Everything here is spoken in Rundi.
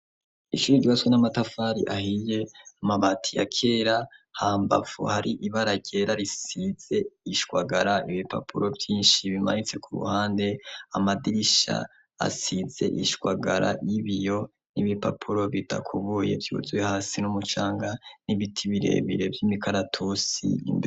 Ishuri ryubatswe n'amatafari ahiye amabati yakera hambavu hari ibara ryera risize ishwagara ibipapuro vyinshi bimanitse ku ruhande, amadirisha asize ishwagara y'ibiyo n'ibipapuro bidakubuye vyuzwuy hasi n'umucanga n'ibiti birebire vy'imikaratusi.